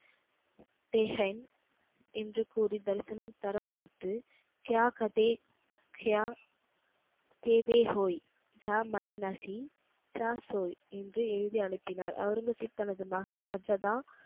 தேஹேன் என்று கூறி தரிசனம் தர மறுத்து என்று எழுதி அனுப்பினார். ஒளரங்கசீப் தனது மகன் சத்சதா